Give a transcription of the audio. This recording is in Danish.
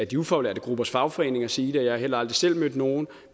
de ufaglærte gruppers fagforeninger sige det og jeg har heller aldrig selv mødt nogen